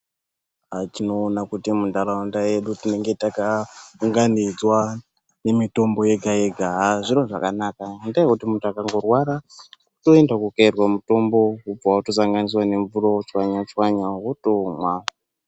Tinoona kuti munharaunda yedu tinenge takaunganidzwa nemitombo yega yega, aah zviro zvakanaka ngendaa yekuti muntu akandorwara unoenda kokayirwa mutombo wobva watosanganisirwa nemvura wotochwanyachwanya wotomwa.